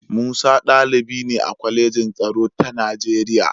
Musa ɗalibi ne a Kwalejin Tsaro ta Nigeriya.